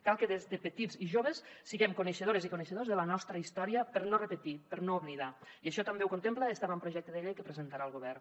cal que des de petits i joves siguem coneixedores i coneixedors de la nostra història per no repetir per no oblidar i això també ho contempla este avantprojecte de llei que presentarà el govern